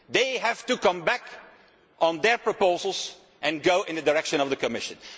They have to go back on their proposals and go in the direction of the Commission.